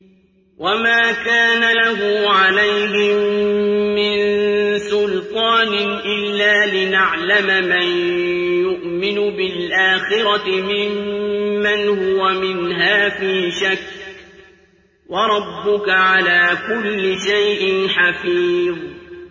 وَمَا كَانَ لَهُ عَلَيْهِم مِّن سُلْطَانٍ إِلَّا لِنَعْلَمَ مَن يُؤْمِنُ بِالْآخِرَةِ مِمَّنْ هُوَ مِنْهَا فِي شَكٍّ ۗ وَرَبُّكَ عَلَىٰ كُلِّ شَيْءٍ حَفِيظٌ